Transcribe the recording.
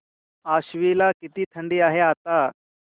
आश्वी ला किती थंडी आहे आता